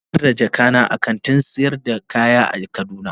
Na batar da jakata a kantin sayar da kaya a kaduna.